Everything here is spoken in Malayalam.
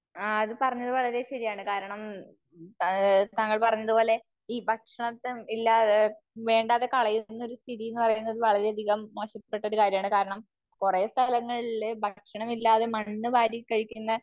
ആ അത് പറഞ്ഞത് വളരെ ശരിയാണ്. കാരണം താങ്കൾ പറഞ്ഞത് പോലെ ഈ ഭക്ഷണത്തെ ഇല്ലാ, വേണ്ടാതെ കളയുന്ന ഒരു സ്ഥിതി എന്ന് പറയുന്നത് വളരെ അതികം മോശപ്പെട്ട ഒരു കാര്യമാണ്. കാരണം, കുറെ സ്ഥലങ്ങളില് ഭക്ഷണം ഇല്ലാതെ മണ്ണ് വാരി കഴിക്കുന്ന